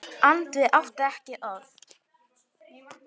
Andri átti ekki orð.